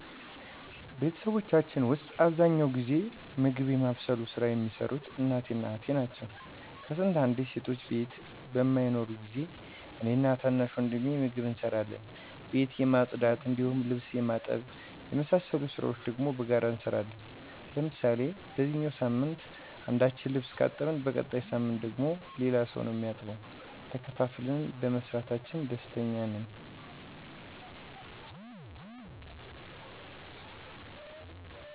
በቤተሰባችን ዉስጥ አብዛኛውን ጊዜ ምግብ የማብሰሉን ሥራ የሚሰሩት እናቴ እና እህቴ ናቸው። ከስንት አንዴ ሴቶች ቤት በማይኖሩ ጊዜ እኔ እና ታናሽ ወንድሜ ምግብ እንሰራለን። ቤት የማፅዳት እንዲሁም ልብስ የማጠብ የመሳሰሉትን ስራዎች ደግሞ በጋራ እንሰራለን። ለምሳሌ በዚኛው ሳምንት አንደኛችን ልብስ ካጠብን በቀጣይ ሳምንት ደግሞ ሌላ ሰው ነው እሚያጥበው። ተከፋፍለን በመስራታችን ደስተኞች ነን።